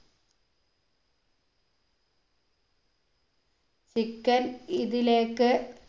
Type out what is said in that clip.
chicken